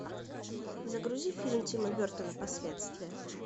загрузи фильм тима бертона последствия